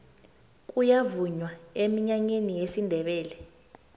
kuyavunywa eminyanyeni yesindebele